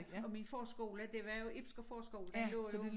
Og min forskole det var jo Ibsker forskole den lå jo